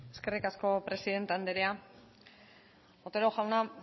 eskerrik asko presidente andrea otero jauna